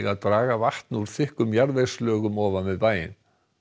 að draga vatn úr þykkum jarðvegslögum ofan við bæinn